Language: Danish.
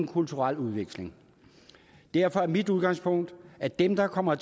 kulturel udveksling derfor er mit udgangspunkt at dem der kommer